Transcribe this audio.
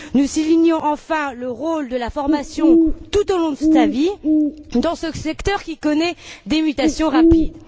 Nous soulignons, enfin, le rôle de la formation tout au long de la vie dans ce secteur qui connaît des mutations rapides.